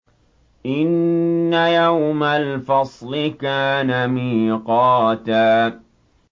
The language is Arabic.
إِنَّ يَوْمَ الْفَصْلِ كَانَ مِيقَاتًا